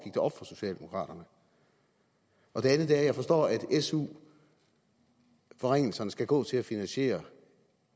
op for socialdemokraterne det andet er at jeg forstår at su forringelserne skal gå til at finansiere